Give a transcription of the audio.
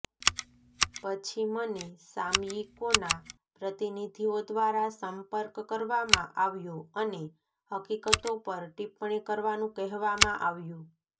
પછી મને સામયિકોના પ્રતિનિધિઓ દ્વારા સંપર્ક કરવામાં આવ્યો અને હકીકતો પર ટિપ્પણી કરવાનું કહેવામાં આવ્યું